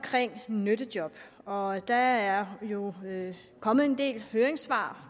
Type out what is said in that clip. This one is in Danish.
nyttejob og der er jo kommet en del høringssvar